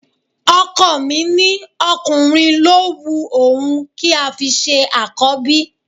Ọkọ mi ní ọkùnrin ló un òun kí a fi ṣe Àkọ́bí